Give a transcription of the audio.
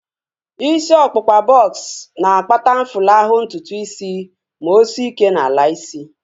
Isi ọkpụkpa bọks na-akpata mfulahu ntutu isi ma o sie ike n'ala isi